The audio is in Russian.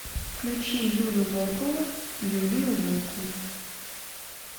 включи юлю волкову юлию волкову